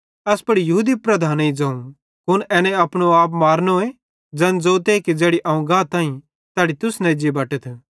एस पुड़ यहूदी लीडरेईं ज़ोवं कुन एने अपनो आप मारनोए ज़ैन ज़ोते कि ज़ैड़ी अवं गाताईं तैड़ी तुस न एज्जी बटतथ